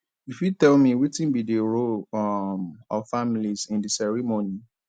you fit tell me wetin be di role um of families in di ceremony